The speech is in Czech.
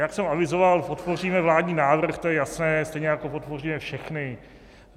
Jak jsem avizoval, podpoříme vládní návrh, to je jasné, stejně jako podpoříme všechny.